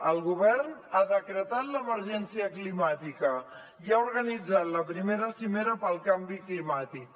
el govern ha decretat l’emergència climàtica i ha organitzat la primera cimera pel canvi climàtic